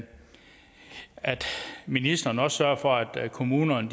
ministeren også sørger for at kommunerne